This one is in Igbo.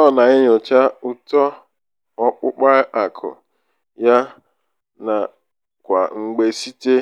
ọ na-enyocha uto ọkpụkpa akụ ya ya kwa mgbe site